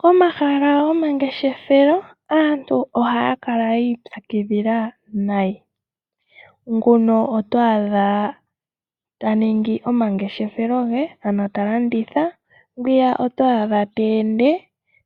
Komahala gomangeshefelo aantu ohaya kala yi ipyakidhila nayi ,nguno oto adha taningi omangeshefelo ge talanditha, ngwiya oto adha ta ende